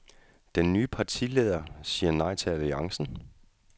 Den nye partileder siger nej til alliancen.